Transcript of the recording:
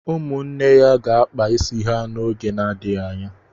Ụmụnne ya ga-akpa isi ha n'oge na-adịghị anya.